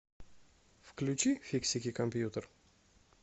включи фиксики компьютер